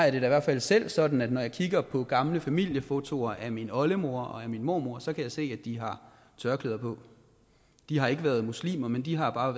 i hvert fald selv sådan at når jeg kigger på gamle familiefotoer af min oldemor og af min mormor så kan jeg se at de har tørklæde på de har ikke været muslimer men de har bare